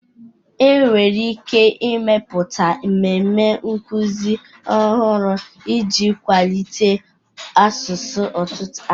Enwere ike ịmepụta mmemme nkuzi ọhụrụ iji kwalite asụsụ ọtụtụ asụsụ